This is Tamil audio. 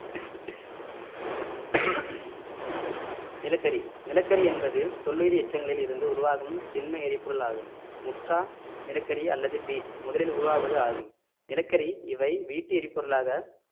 நிலக்கரி நிலக்கரி என்பது தொல்லுயிர் எச்சங்களில் இருந்து உருவாகும் திண்ம எரிபொருள் ஆகும் முற்றா நிலக்கரி அல்லது பீட் முதலில் உருவாவது ஆகும் நிலக்கரி இவை வீட்டு எரிபொருளாக